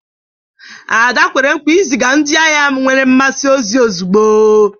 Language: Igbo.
Ada kwere nkwa iziga ndị ahịa nwere mmasị ozi ozugbo